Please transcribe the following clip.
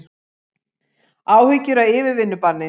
Áhyggjur af yfirvinnubanni